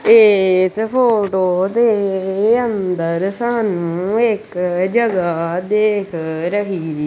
ਇਸ ਫੋਟੋ ਦੇ ਅੰਦਰ ਸਾਨੂੰ ਇੱਕ ਜਗਹਾ ਦੇਖ ਰਹੀ--